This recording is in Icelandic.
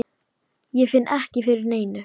Ég finn ekki fyrir neinu.